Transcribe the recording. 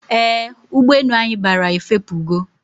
Eeh, ụgbọ enu anyi bara efepugo